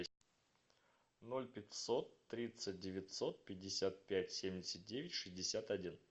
ноль пятьсот тридцать девятьсот пятьдесят пять семьдесят девять шестьдесят один